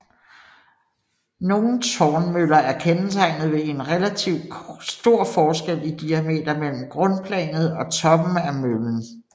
Nogle tårnmøller er kendetegnet ved en relativt stor forskel i diameter mellem grundplanet og toppen af møllen